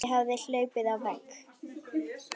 Ég hafði hlaupið á vegg.